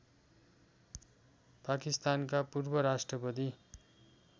पाकिस्तानका पूर्वराष्ट्रपति